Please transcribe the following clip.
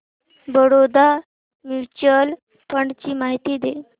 Baroda mutual fund ची माहिती दे